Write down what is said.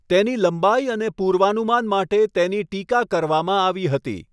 તેની લંબાઈ અને પૂર્વાનુમાન માટે તેની ટીકા કરવામાં આવી હતી.